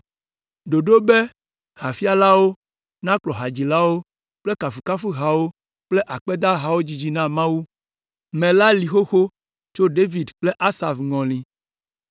Ɖoɖo be hafialawo nakplɔ hadzilawo le kafukafuhawo kple akpedahawo dzidzi na Mawu me la li xoxo tso David kple Asaf ŋɔli.